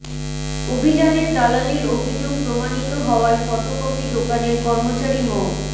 অভিযানে দালালির অভিযোগ প্রমাণিত হওয়ায় ফটোকপি দোকানের কর্মচারী মো